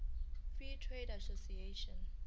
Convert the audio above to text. free trade association